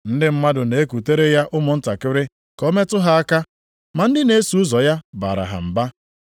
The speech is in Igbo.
Ndị mmadụ na-ekutere ya ụmụntakịrị ka o metụ ha aka, ma ndị na-eso ụzọ ya baara ha mba.